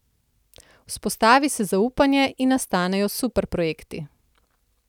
Vzpostavi se zaupanje in nastanejo super projekti.